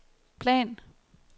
plan